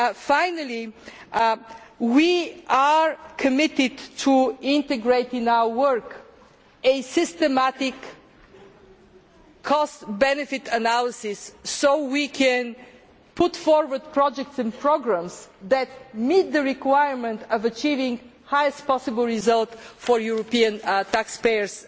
Finally, we are committed to integrating into our work a systematic cost benefit analysis so we can put forward projects and programmes that meet the requirement of achieving the highest possible result for European taxpayers'